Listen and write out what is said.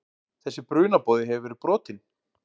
Þessi brunaboði hefur verið brotinn.